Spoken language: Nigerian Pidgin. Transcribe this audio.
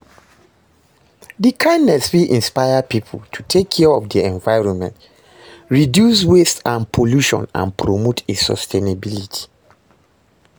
di kindness fit inspire people to take care of di environment, reduce waste and pollution and promote a sustainability.